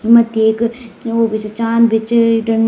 मथ्थी एक वू भी च चाँद भी च इडन।